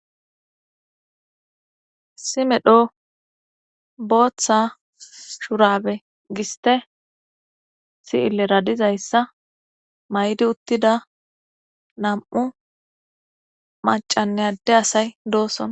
simedho booththa shurabe giste si7ille radizayssa maydi uttida nam7u macanne adde asay doosson